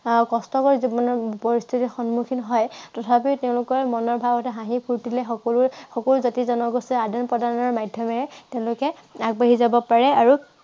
আহ কষ্টকৰ জীৱনৰ পৰিস্থিতি সনিমুখীন হয়। তথাপিও তেওঁলোকৰ জীৱনৰ মনোভাৱ হাঁহি ফুৰ্তিৰে সকলো জাতি-জনগোষ্ঠীয়ে আদান প্ৰদানৰ মাধ্য়মেৰে তেওঁলোকে আগবাঢ়ি যাব পাৰে আৰু